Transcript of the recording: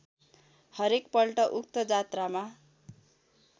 हरेकपल्ट उक्त जात्रामा